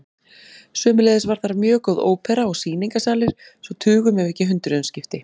Sömuleiðis var þar mjög góð ópera og sýningarsalir svo tugum ef ekki hundruðum skipti.